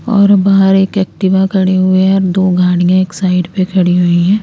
और बाहर एक एक्टिवा खड़ी हुई है और दो गाडिये एक साइड पे खड़ी हुई है।